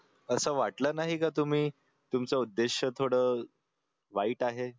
असं वाटलं नाही की तुम्ही तुमचा उद्देश्य थोडं वाईट आहे